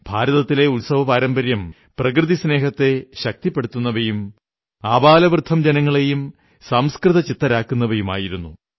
ഭാരതത്തിലെ ഉത്സവപാരമ്പര്യം പ്രകൃതിസ്നേഹത്തെ ശക്തിപ്പെടുത്തുന്നവയും ആബാലവൃദ്ധം ജനങ്ങളെയും സംസ്കൃതചിത്തരാക്കുന്നവയുമായിരുന്നു